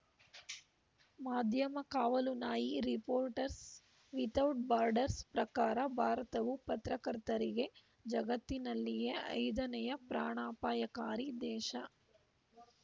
ಮಾಧ್ಯಮ ಕಾವಲು ನಾಯಿ ರಿಪೋರ್ಟರ್ಸ್‌ ವಿಥೌಟ್‌ ಬಾರ್ಡರ್ಸ್‌ ಪ್ರಕಾರ ಭಾರತವು ಪತ್ರಕರ್ತರಿಗೆ ಜಗತ್ತಿನಲ್ಲಿಯೇ ಐದನೆಯ ಪ್ರಾಣಾಪಾಯಕಾರಿ ದೇಶ